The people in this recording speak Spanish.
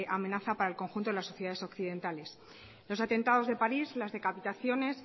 amenaza para el conjunto de las sociedades occidentales los atentados de parís las decapitaciones